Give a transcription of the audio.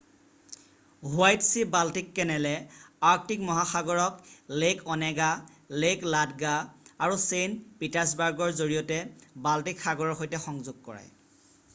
white sea Baltic কেনেলে Arctic মহাসাগৰক lake Onega lake Ladoga আৰু ছেইণ্ট পিটাৰ্ছবাৰ্গৰ জৰিয়তে বাল্টিক সাগৰৰ সৈতে সংযোগ কৰায়